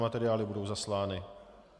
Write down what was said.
Materiály budou zaslány.